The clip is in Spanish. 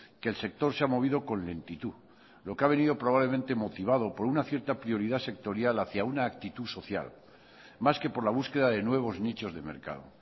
que el sector se ha movido con lentitud lo que ha venido probablemente motivado por una cierta prioridad sectorial hacia una actitud social más que por la búsqueda de nuevos nichos de mercado